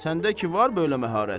Səndə ki var belə məharət?